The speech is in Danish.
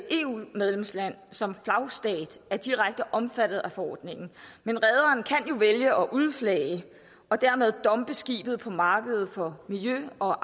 eu medlemsland som flagstat er direkte omfattet af forordningen men rederen kan jo vælge at udflage og dermed dumpe skibet på markedet for miljø og